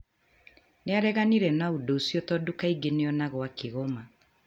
Nĩ areganire na ũndũ ũcio tondũ kaingĩ nĩ onagwo akĩgoma.